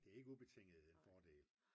det er ikke ubetinget en fordel